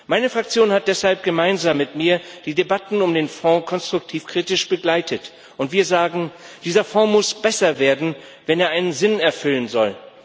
Meine Fraktion hat deshalb gemeinsam mit mir die Debatten über den Fonds konstruktiv kritisch begleitet, und wir sagen Dieser Fonds muss besser werden, wenn er einen Sinn erfüllen soll.